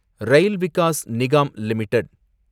rail Vikas Nigam limited